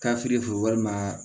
walima